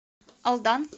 алдан